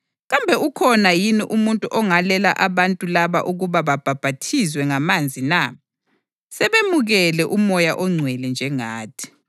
“Kambe ukhona yini umuntu ongalela abantu laba ukuba babhaphathizwe ngamanzi na? Sebemukele uMoya oNgcwele njengathi.”